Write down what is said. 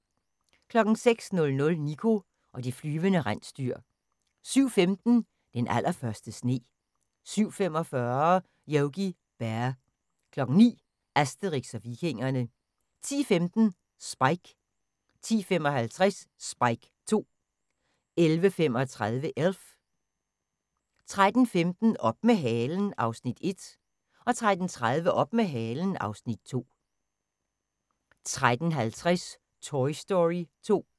06:00: Niko og de flyvende rensdyr 07:15: Den allerførste sne 07:45: Yogi Bear 09:00: Asterix og Vikingerne 10:15: Spike 10:55: Spike 2 11:35: Elf 13:15: Op med halen (Afs. 1) 13:30: Op med halen (Afs. 2) 13:50: Toy Story 2